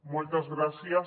moltes gràcies